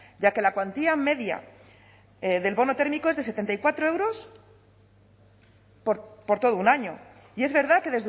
ya que la cuantía media del bono térmico es de setenta y cuatro euros por todo un año y es verdad que